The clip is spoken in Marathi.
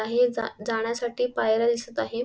हे जा जाण्यासाठी पायऱ्या दिसत आहे.